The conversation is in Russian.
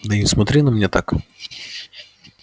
да не смотри на меня так